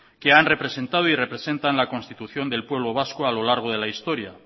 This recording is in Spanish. que han representado y representan la constitución del pueblo vasco a lo largo de la historia